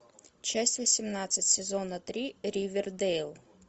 часть восемнадцать сезона три ривердейл